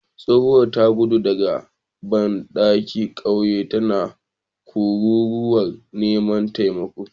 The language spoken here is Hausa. Tsohuwar ta gudu daga dandalin kauye tana kururuwar neman taimako